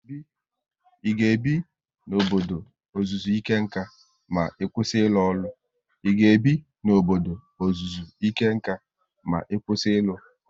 I ga ebi n'obodo ọzụzụ ike nkà ma ị kwụsị ịrụ ọrụ?